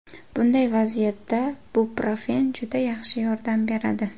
Bunday vaziyatda ibuprofen juda yaxshi yordam beradi.